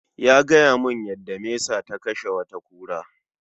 Ya gayamun yada mesa ta kashe wata kura